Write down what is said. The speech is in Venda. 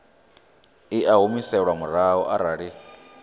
i a humiselwa murahu arali